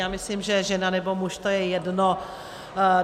Já myslím, že žena, nebo muž, to je jedno.